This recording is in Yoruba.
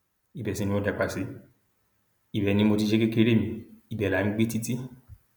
ibẹ sì ni mo dàgbà sí ibẹ ni mo ti ṣe kékeré mi ibẹ là ń gbé títì